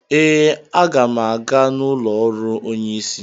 Ee, a ga m aga n'ụlọ ọrụ onye isi